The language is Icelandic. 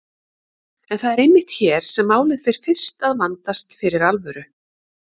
En það er einmitt hér sem málið fer fyrst að vandast fyrir alvöru.